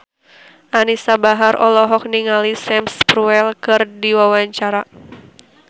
Anisa Bahar olohok ningali Sam Spruell keur diwawancara